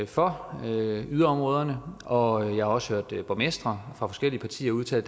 for yderområderne og jeg har også hørt borgmestre fra forskellige partier udtale